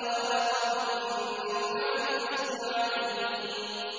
لَيَقُولُنَّ خَلَقَهُنَّ الْعَزِيزُ الْعَلِيمُ